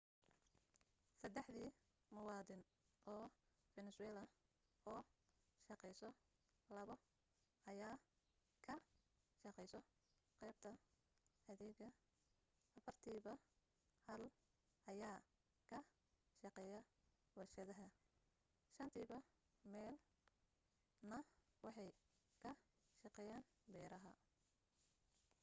saddexdi muwaddin oo venezuela oo shaqayso labo ayaa ka shaqayso qaybta adeega afartiiba hal ayaa ka shaqeeyaa warshadaha shantiiba meel na waxay ka shaqeeyaan beeraha